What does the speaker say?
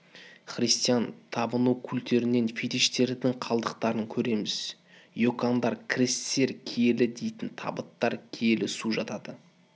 христиан табыну культтерінен фитиштердің қалдықтарын көреміз икондар крестер киелі дейтін табыттар киелі су жатады